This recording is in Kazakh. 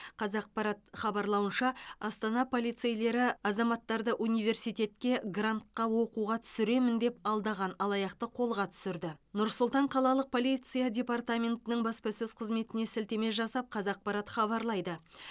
қазақпарат хабарлауынша астана полицейлері азаматтарды университетке грантқа оқуға түсіремін деп алдаған алаяқты қолға түсірді нұр сұлтан қалалық полиция департаментінің баспасөз қызметіне сілтеме жасап қазақпарат хабарлайды